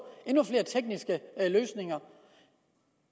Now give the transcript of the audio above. endnu flere tekniske løsninger